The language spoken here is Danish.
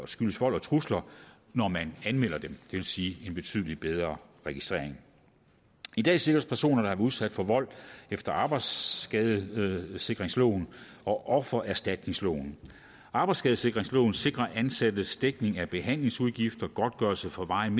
skyldes vold og trusler når man anmelder den det vil sige en betydelig bedre registrering i dag sikres personer der udsat for vold efter arbejdsskadesikringsloven og offererstatningsloven arbejdsskadesikringsloven sikrer ansattes dækning af behandlingsudgifter godtgørelse for varigt